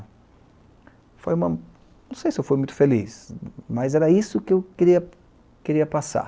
Foi uma, não sei se eu fui muito feliz, mas era isso que eu queria, queria passar.